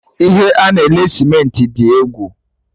Ihe a na-ele Cementị dị egwu!